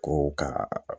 Ko ka